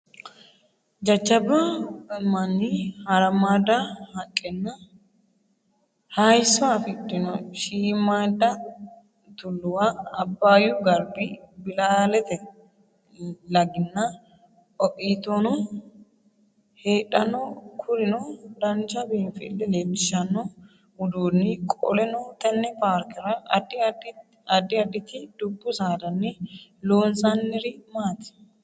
Jajjabba mani, harammaadda haqqenna hayisso afidhino Shiimmaadda tulluwa, Abbaayyu Garbi, Bilaatte Laginna Ooitono heedhanno Kurino dancha biinfille leellishshanno udduni Qoleno tenne paarkera addi additi dubbu saadani loonsaniri maati?